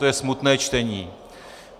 To je smutné čtení.